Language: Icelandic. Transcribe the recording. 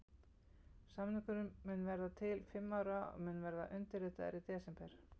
Samningurinn mun vera til fimm ára og mun verða undirritaður í desember.